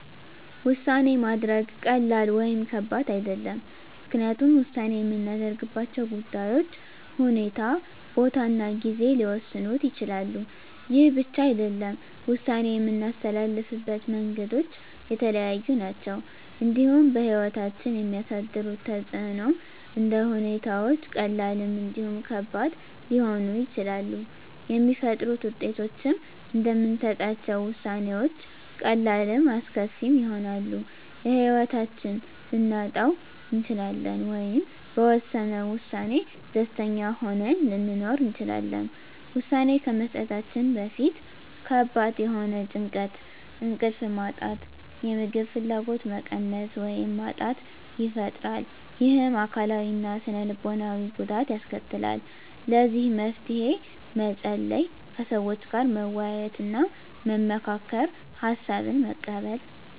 ውሳኔ ማድረግ ቀላል ወይም ከባድ አይደለም ምክንያቱም ውሳኔ የምናደርግባቸው ጉዳዮች ሁኔታ ቦታ እና ጊዜ ሊወሰኑት ይችላሉ ይህ ብቻ አይደለም ውሳኔ የምናስተላልፍበት መንገዶች የተለያዩ ናቸው እንዲሁም በህይወታችን የሚያሳድሩት ተፅእኖም እንደ ሁኔታዎች ቀላልም እንዲሁም ከባድ ሊሆኑ ይችላሉ የሚፈጥሩት ውጤቶችም እንደምንሰጣቸው ውሳኔዎች ቀላልም አስከፊም ይሆናል የህይወታችንን ልናጣ እንችላለን ወይም በወሰነው ውሳኔ ደስተኛ ሆነን ልንኖር እንችላለን ውሳኔ ከመስጠታችን በፊት ከባድ የሆነ ጭንቀት እንቅልፍ ማጣት የምግብ ፍላጎት መቀነስ ወይም ማጣት ይፈጥራል ይህም አካላዊ እና ስነ ልቦናዊ ጉዳት ያስከትላል ለዚህ መፍትሄ መፀለይ ከሰዎች ጋር መወያየትና መመካከር ሀሳብን መቀበል